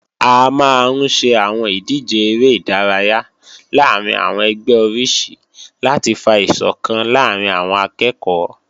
A máa ń ṣe àwọn ìdíje eré ìdárayá láàrín àwọn ẹgbẹ́ oríṣi láti fa ìsọ̀kan láàrín àwọn akẹ́ẹ̀kọ́